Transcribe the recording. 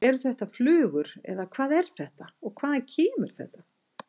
Eru þetta flugur eða hvað er þetta og hvaðan kemur þetta?